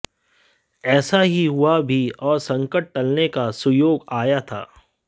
ऐसा ही हुआ भी और संकट टलने का सुयोग आया था